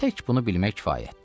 Tək bunu bilmək kifayətdir.